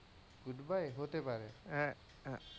goodbye হতে পারে, হ্যাঁ,